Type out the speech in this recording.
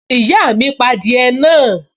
Ìyá mi pa adìẹ náà